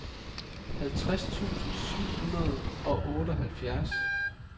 halvtreds tusind syv hundrede og otteoghalvfjerds